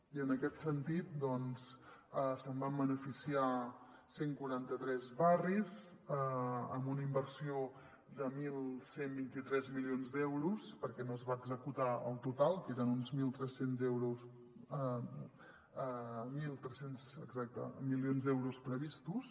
i en aquest sentit doncs se’n van beneficiar cent i quaranta tres barris amb una inversió de onze vint tres milions d’euros perquè no se’n va executar el total que eren uns mil tres cents mi·lions d’euros previstos